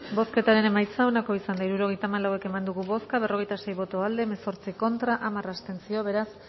bozketaren emaitza onako izan da hirurogeita hamalau eman dugu bozka berrogeita sei boto aldekoa hemezortzi contra hamar abstentzio beraz